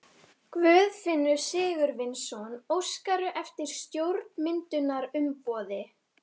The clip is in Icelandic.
Guðfinnur Sigurvinsson: Óskarðu eftir stjórnarmyndunarumboði?